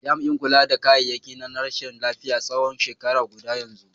Jami'in kula da kayayyaki na rashin lafiya tsawon shekara guda yanzu.